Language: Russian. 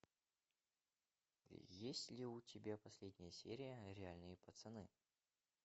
есть ли у тебя последняя серия реальные пацаны